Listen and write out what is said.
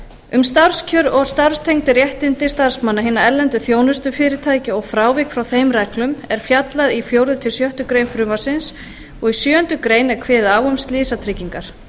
um starfskjör og starfstengd réttindi starfsmanna hinna erlendu þjónustufyrirtækja og frávik frá þeim reglum er fjallað í fjórða til sjöttu greinar frumvarpsins og í sjöundu grein er kveðið á um slysatryggingar